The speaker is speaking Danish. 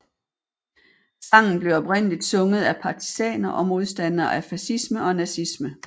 Sangen blev oprindeligt sunget af partisaner og modstandere af facisme og nazisme